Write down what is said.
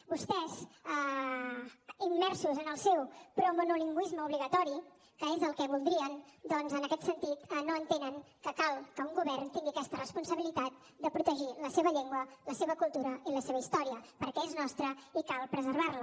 vostès immersos en el seu promonolingüisme obligatori que és el que voldrien doncs en aquest sentit no entenen que cal que un govern tingui aquesta responsabilitat de protegir la seva llengua la seva cultura i la seva història perquè és nostra i cal preservar la